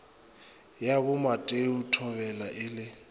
ya bomateo thobela e le